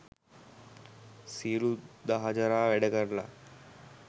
සියලු දහ ජරා වැඩ කරල